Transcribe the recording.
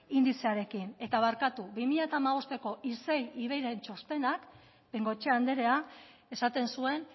indizearekin eta barkatu bi mila hamabosteko isei ivei txostenak bengoechea anderea esaten zuen